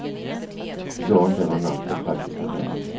Det går inte över en natt, av praktiska skäl.